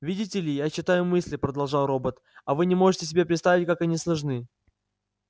видите ли я читаю мысли продолжал робот а вы не можете себе представить как они сложны